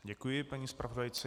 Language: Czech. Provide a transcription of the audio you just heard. Děkuji paní zpravodajce.